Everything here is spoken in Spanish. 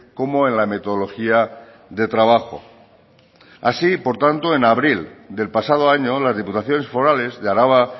como en la metodología de trabajo así por tanto en abril del pasado año las diputaciones forales de araba